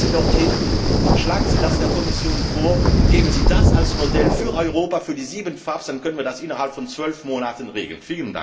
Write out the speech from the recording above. gelöst. Kommen Sie dorthin, schlagen Sie das der Kommission vor und nehmen Sie das als Modell für Europa, für die sieben FABs, dann können wir das innerhalb von zwölf Monaten regeln!